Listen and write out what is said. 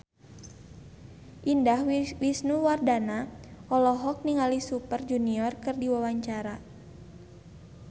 Indah Wisnuwardana olohok ningali Super Junior keur diwawancara